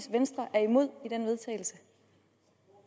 venstre er imod